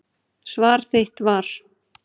Svar þitt var.